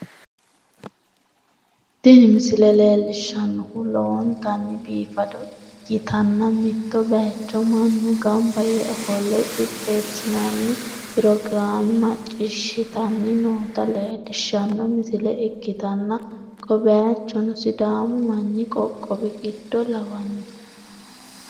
Tini misile leellishshannohu lowontanni biifado ikkitanna, mitto bayiicho mannu gamba yee ofolle qixxeessinoonni pirogiraame macciishshitanni noota leellishshanno misile ikkitanna, ko bayichino sidaamu manni qoqqowi giddo lawanno.